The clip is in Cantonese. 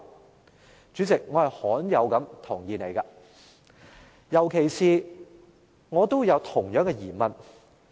代理主席，我罕有地同意妳，特別是我都有相同的疑問。